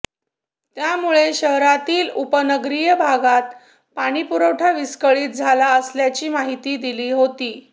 त्यामुळे शहरातील उपनगरीय भागात पाणी पुरवठा विस्कळीत झाला असल्याची माहीतीही दिली होती